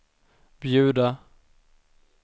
bjuda